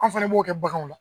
An fana b'o kɛ baganw na